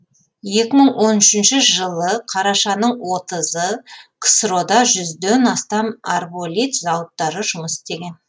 екі мың он үшінші жылы қарашаның отызы ксро да жүзден астам арболит зауыттары жұмыс істеген